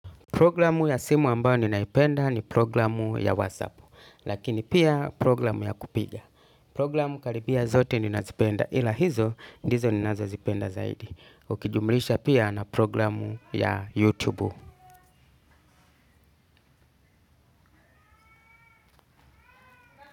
Programu ya simu ambayo ninaipenda ni programu ya WhatsApp, lakini pia programu ya kupiga. Programu karibia zote ninazipenda ila hizo, ndizo ninazozipenda zaidi. Ukijumlisha pia na programu ya YouTube.